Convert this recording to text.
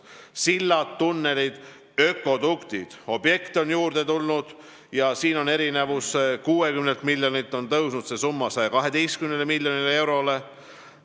Sillad, tunnelid, ökoduktid – neid objekte on juurde tulnud ja siin on see erinevus, et 60 miljonilt on see summa tõusnud 112 miljonile eurole.